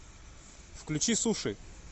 включи суши